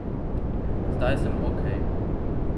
Zdaj sem okej.